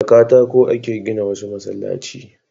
Da katako a ke gina wasu masallaci